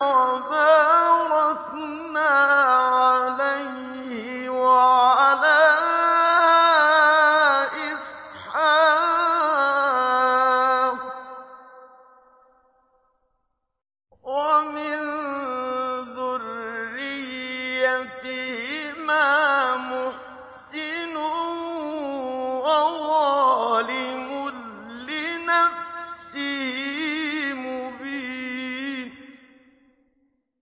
وَبَارَكْنَا عَلَيْهِ وَعَلَىٰ إِسْحَاقَ ۚ وَمِن ذُرِّيَّتِهِمَا مُحْسِنٌ وَظَالِمٌ لِّنَفْسِهِ مُبِينٌ